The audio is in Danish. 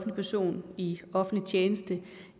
en person i offentlig tjeneste